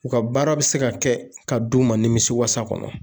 U ka baara bɛ se ka kɛ ka d'u ma nimisiwasa kɔnɔ